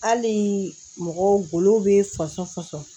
Hali mɔgɔ golo be fasɔn fɔsɔn